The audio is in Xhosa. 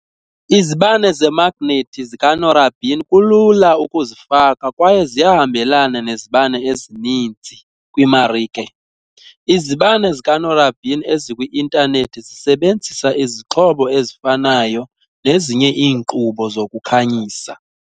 Izibane zemagnethi zikanorabin kulula ukuzifaka kwaye ziyahambelana nezibane ezininzi kwimarike, izibane zikanorabin ezikwi-intanethi zisebenzisa izixhobo ezifanayo nezinye iinkqubo zokukhanyisa.